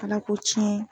Ala ko tiɲɛ